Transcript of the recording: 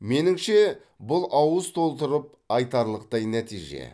меніңше бұл ауыз толтырып айтарлықтай нәтиже